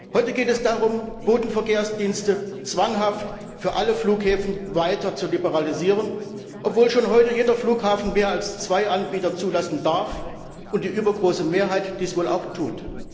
Heute geht es darum, Bodenverkehrsdienste zwanghaft für alle Flughäfen weiter zu liberalisieren, obwohl schon heute jeder Flughafen mehr als zwei Anbieter zulassen darf und die übergroße Mehrheit dies wohl auch tut.